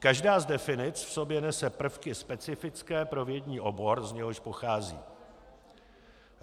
Každá z definic v sobě nese prvky specifické pro vědní obor, z něhož pochází.